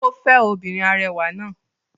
Ó fẹ́ obìnrin arẹwà náà.